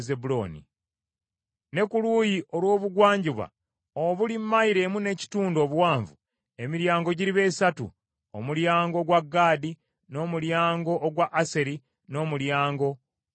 Ne ku luuyi olw’Obugwanjuba obuli mayilo emu n’ekitundu obuwanvu, emiryango giriba esatu: omulyango ogwa Gaadi, n’omulyango ogwa Aseri, n’omulyango ogwa Nafutaali.